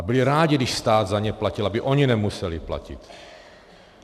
A byli rádi, když stát za ně platil, aby oni nemuseli platit.